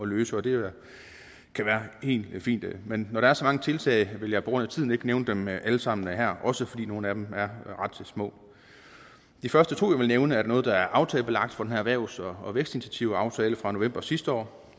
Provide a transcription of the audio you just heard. løse og det kan være helt fint men når der er så mange tiltag vil jeg på grund af tiden ikke nævne dem alle sammen her også fordi nogle af dem er ret små de første to tiltag jeg vil nævne er noget der er aftalebelagt fra den erhvervs og og vækstinitiativaftale fra november sidste år